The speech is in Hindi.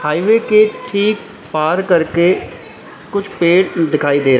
हाईवे के ठीक पार करके कुछ पेड़ दिखाई दे रहे--